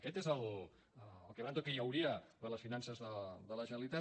aquest és el quebranto que hi hauria per a les finances de la generalitat